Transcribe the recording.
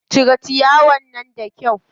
Cire ciyawar nan da kyau.